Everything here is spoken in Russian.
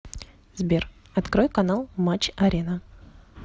сбер открой канал матч арена